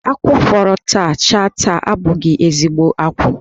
Ákwú fọrọ taa chaa taa abụghị ezigho akwụ.